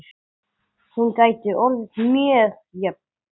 Hún gæti orðið mjög jöfn.